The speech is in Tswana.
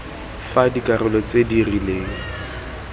fa dikarolo tse di rileng